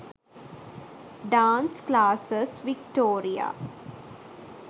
dance classes victoria